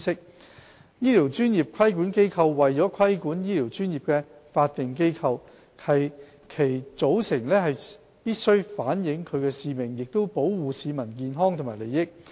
二醫療專業規管機構為規管醫療專業的法定機構，其組成須反映其使命，即保護市民健康及利益。